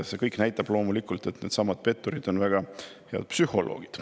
See kõik näitab loomulikult, et need petturid on väga head psühholoogid.